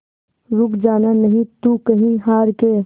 रुक जाना नहीं तू कहीं हार के